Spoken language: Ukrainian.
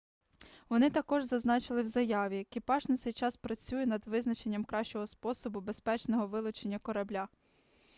вони також зазначили в заяві екіпаж на цей час працює над визначенням кращого способу безпечного вилучення корабля